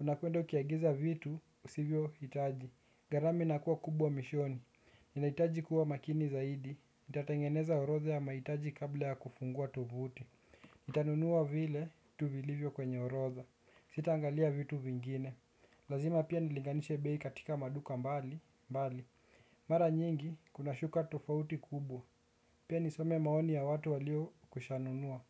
Unakuendo kiagiza vitu, usivyo itaji. Garama inakua kubwa mishoni. Ninahitaji kuwa makini zaidi. Itatangeneza orotha ya maitaji kabla ya kufungua tuvuti. Itanunua vile, tuvilivyo kwenye orotha. Sita angalia vitu vingine. Lazima pia nilinganishe bei katika maduka mbali Mbali. Mara nyingi, kuna shuka tofauti kubwa. Pia nisome maoni ya watu walio kushanunua.